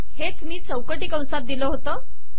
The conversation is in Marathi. हेच मी चौकटी कंसात दिले होते